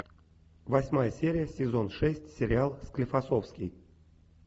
восьмая серия сезон шесть сериал склифосовский